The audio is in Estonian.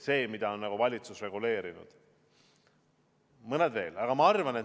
Olgem ausad, ega väga palju seda ei ole, mida valitsus on reguleerinud.